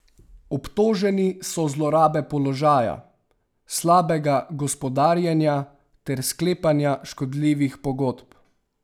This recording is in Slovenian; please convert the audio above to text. Obtoženi so zlorabe položaja, slabega gospodarjenja ter sklepanja škodljivih pogodb.